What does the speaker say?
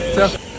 Çaq.